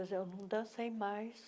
mas eu não dancei mais.